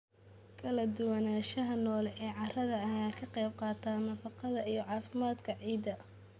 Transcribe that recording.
Kala duwanaanshaha noole ee carrada ayaa ka qayb qaata nafaqada iyo caafimaadka ciidda.